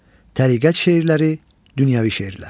Təriqət şeirləri, dünyəvi şeirlər.